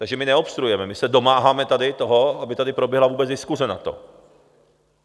Takže my neobstruujeme, my se domáháme tady toho, aby tady proběhla vůbec diskuse na to.